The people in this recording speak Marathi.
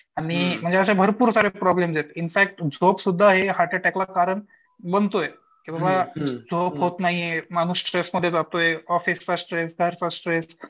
आणि मला वाटतं असे भरपूर सारे प्रॉब्लेमयेत इनफॅक्ट झोप सुद्धा हार्ट अटॅकला कारण बनतोय. किंवा झोप होत नाही माणूस स्ट्रेसमध्ये जातोय ऑफिसचा स्ट्रेस स्ट्रेस